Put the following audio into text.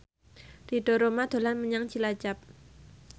Ridho Roma dolan menyang Cilacap